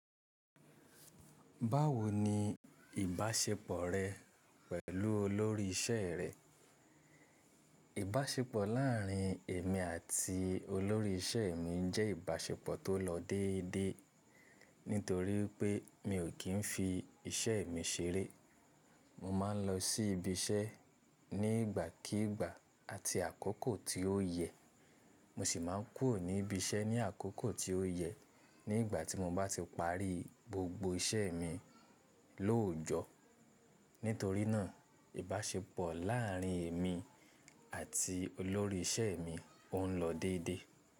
Báwo ní ìbáṣepọ̀ rẹ pẹ̀lú olórí ìṣe rẹ? Ìbáṣepọ̀ láàrin èmi àti olórí ìṣe mi jẹ́ ìbáṣepọ̀ tó lọ déédéé nítorí pé mi ò kí ń fi iṣẹ́ mi ṣeré. Mo máa ń lọ sí ibi iṣẹ́ ní ìgbàkígbà àti àkókò tí ó yẹ, mo sì máa ń kúrò ní ibi iṣẹ́ ní àkókò tí ó yẹ nígbà tí mo bá ti parí gbogbo iṣẹ́ mi lóòjọ́. Nítorí náà ìbáṣepọ̀ láàrin èmi àti olórí ìṣe mi ọ̀ ń lọ déédéé.